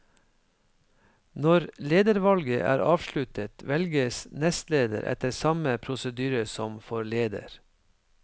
Når ledervalget er avsluttet, velges nestleder etter samme prosedyre som for leder.